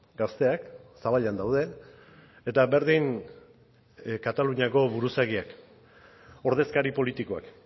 gazteak zaballan daude eta berdin kataluniako buruzagiak ordezkari politikoak